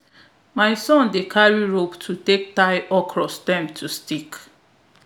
my son dey carry rope to take tie okra stem to stick